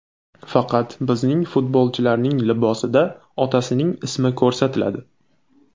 Faqat bizning futbolchilarning libosida otasining ismi ko‘rsatiladi” .